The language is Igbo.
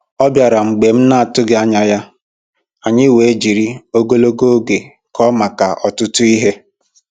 Ọ bịara mgbe m na-atụghị anya ya, anyị wee jiri ogologo oge kọọ maka ọtụtụ ihe